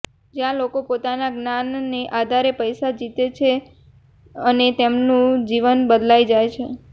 જ્યાં લોકો પોતાના જ્ઞાનના આધારે પૈસા જીતે છે અને તેમનું જીવન બદલાઈ જાય છે